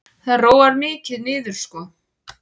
Það róar mikið niður sko.